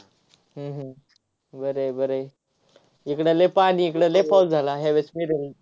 हम्म हम्म बरं हाय, बरं हाय. इकडं लय पाणी इकडं लय पाऊस झाला ह्यावेळेस नीट होईल.